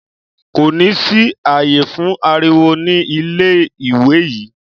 Kò ní sí ààyè fún ariwo ní ilé-ìwé yìí.